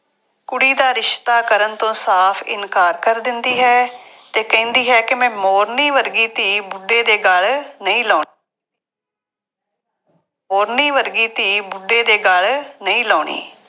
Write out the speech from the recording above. ਕੁੜੀ ਦਾ ਰਿਸ਼ਤਾ ਕਰਨ ਤੋਂ ਸਾਫ ਇਨਕਾਰ ਕਰ ਦਿੰਦੀ ਹੈ ਅਤੇ ਕਹਿੰਦੀ ਹੈ ਕਿ ਮੈਂ ਮੋਰਨੀ ਵਰਗੀ ਧੀ ਬੁੱਢੇ ਦੇ ਗੱਲ ਨਹੀਂ ਲਾਉਣੀ ਮੋਰਨੀ ਵਰਗੀ ਧੀ ਬੁੱਢੇ ਦੇ ਗੱਲ ਨਹੀਂ ਲਾਉਣੀ।